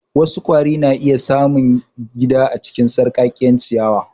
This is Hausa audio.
Wasu kwari na iya samun gida a cikin sarƙaƙƙiyar ciyawa.